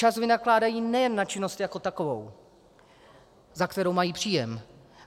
Čas vynakládají nejen na činnost jako takovou, za kterou mají příjem.